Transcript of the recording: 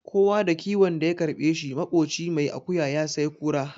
Kowa da kiwon da ya karɓe shi, maƙocin mai akuya ya sai kura.